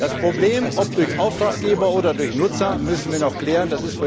Die Frage, ob durch Auftraggeber oder durch Nutzer, müssen wir noch klären.